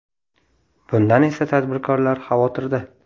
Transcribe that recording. Bundan esa tadbirkorlar xavotirda.